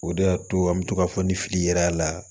O de y'a to an bɛ to k'a fɔ ni fili yera a la